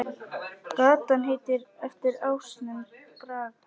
Gatan heitir eftir ásnum Braga.